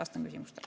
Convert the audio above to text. Vastan küsimustele.